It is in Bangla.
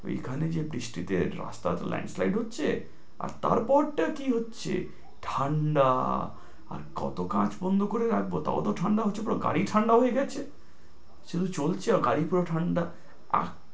এই খানে যে বৃষ্টিতে রাস্তা landslide হচ্ছে, আর তার পরটা কি হচ্ছে, ঠাণ্ডা আর কত কাঁচ বন্ধ করে রাখব তাও তো ঠাণ্ডা আসছে, পরে আমার গাড়ি ঠাণ্ডা হয়ে যাচ্ছে, শুধু চলছে, তার পরও ঠাণ্ডা